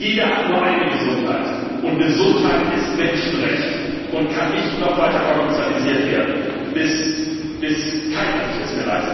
Denn jeder hat nur eine Gesundheit, und Gesundheit ist Menschenrecht und darf nicht noch weiter kommerzialisiert werden, bis keiner sie sich